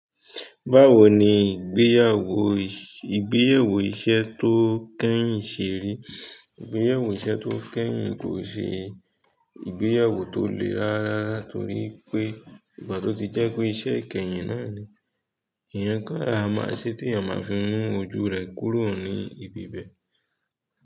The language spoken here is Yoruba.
Báwo ni ìgbéyàwó, ìgbéyàwó iṣẹ́ tó kẹ́yìn ṣe rí? Ìgbéyàwó iṣẹ́ tó kẹ́yìn kò ṣe ìgbéyàwó tó le rárá, torí pé ìgbà tó ti jẹ́ pé iṣẹ́ kẹ́yìn náà ni, ẹ̀yán ká ara máa ṣé tí ènìyàn máa fi mú ojú rẹ̀ kúrò ní ibi bẹ́.